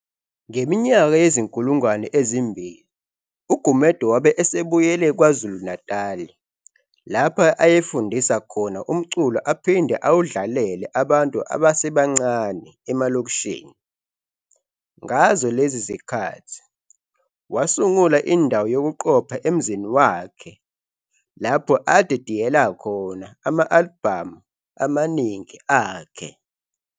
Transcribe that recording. Ngeminyaka yezi-2000 uGumede wabe esebuyele kwaZulu Natali lapho ayefundisa khona umculo aphide awudlalele abantu abasebancane emalokishini. Ngazo lezi zikhathi wasungula indawo yokuqopha emzini wakhe lapho adidiyela khona ama-alibhami amaningi akhe.